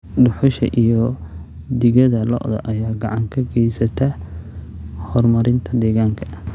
Dhuxusha iyo digada lo'da ayaa gacan ka geysta horumarinta deegaanka.